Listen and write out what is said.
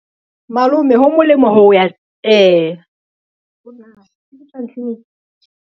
Malome ho molemo ho ya .